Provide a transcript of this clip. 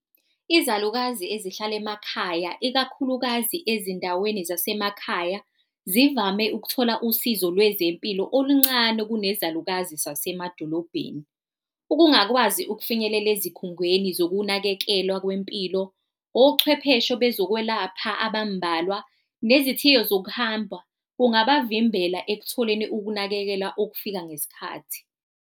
Izalukazi ezihlala emakhaya ikakhulukazi ezindaweni zasemakhaya, zivame ukuthola usizo lwezempilo oluncane kunezalukazi zasemadolobheni. Ukungakwazi ukufinyelela ezikhungweni zokunakekelwa kwempilo, ochwepheshe bezokwelapha abambalwa nezithiyo zokuhamba kungabavimbela ekutholeni ukunakekela okufika ngesikhathi.